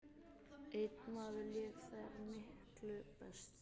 Einn maður lék þar miklu best.